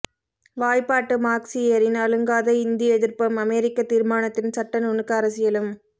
வாய்ப்பாட்டு மார்க்சியரின் அலுங்காத இந்திய எதிர்ப்பும் அமெரிக்க தீர்மானத்தின் சட்ட நுணுக்க அரசியலும்